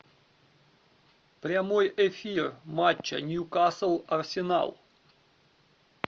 прямой эфир матча ньюкасл арсенал